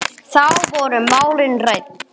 Þá voru málin rædd.